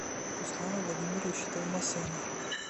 руслана владимировича товмасяна